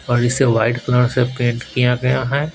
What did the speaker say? और इसे white colour से पेन्ट किया गया है।